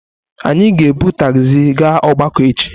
Anyị ga-ebu tagzi gaa ogbako echi.